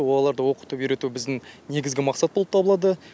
оларды оқытып үйрету біздің негізгі мақсат болып табылады